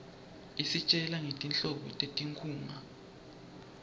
isitjela ngetinhlobo tetinkhunga